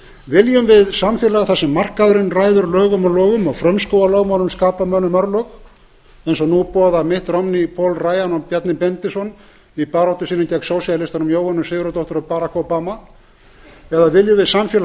viljum við samfélag þar sem markaðurinn ræður lögum og lofum og frumskógarlögmálin skapa mönnum örlög eins og nú boða mitt romney paul ryan og bjarni benediktsson í baráttu sinni gegn sósíalistunum jóhönnu sigurðardóttur og barack obama eða viljum við samfélag mótað af